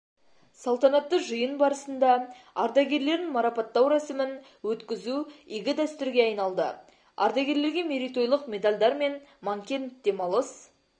салтанатты жиын барысында ардагерлерін марапаттау рәсімін өткізу игі дәстүрге айналды ардагерлерге мерейтойлық медальдар мен манкент демалыс